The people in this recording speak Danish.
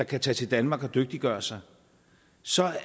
kan tage til danmark og dygtiggøre sig så